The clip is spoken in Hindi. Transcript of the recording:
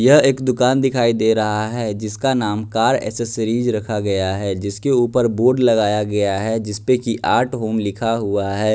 यह एक दुकान दिखाई दे रहा है जिसका नाम कार एसेसरीज रखा गया है जिसके ऊपर बोर्ड लगाया गया है जिसपे की आर्ट होम लिखा हुआ है।